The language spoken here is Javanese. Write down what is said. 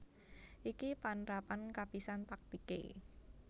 Ini panrapan kapisan taktiké